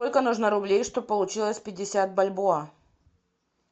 сколько нужно рублей чтобы получилось пятьдесят бальбоа